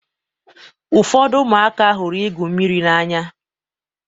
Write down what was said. Ụfọdụ ụmụaka hụrụ igwụ mmiri n'anya.